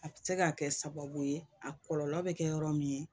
A bɛ se ka kɛ sababu ye a kɔlɔlɔ bɛ kɛ yɔrɔ min ye